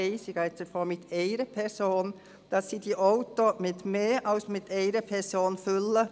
ich gehe jetzt einmal von einer Person aus –, sondern mit mehr als einer Person füllen.